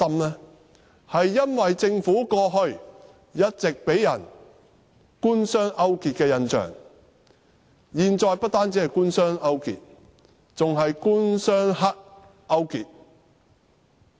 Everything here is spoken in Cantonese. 這是因為政府過去一直予人官商勾結的印象，現在不單官商勾結，還有官、商、黑勾結。